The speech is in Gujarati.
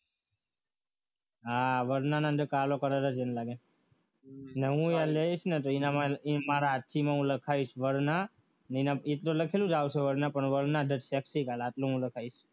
હા વર્ણાની અંદર કાળો કલર છે મને લાગે અને હું લઈશ ને તો એની મારા હાથથી હું લખાઈશ વરના અને એના આવશે varna the sexy car આટલો હું લખાઈશ